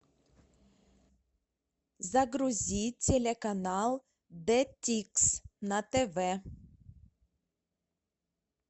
загрузи телеканал джетикс на тв